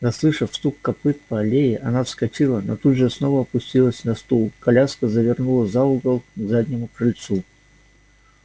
заслышав стук копыт по аллее она вскочила но тут же снова опустилась на стул коляска завернула за угол к заднему крыльцу